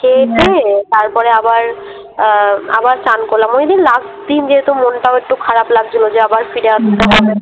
তারপরে আবার আ আবার চান করলাম। ওইদিন দিন যেহেতু মনটাও একটু খারাপ লাগছিলো যে আবার ফিরে আসতে হবে।